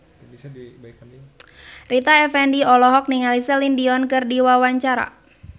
Rita Effendy olohok ningali Celine Dion keur diwawancara